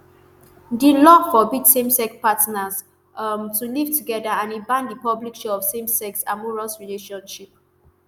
di law forbid samesex partners um to live together and e ban di public show of samesex amorous relationship.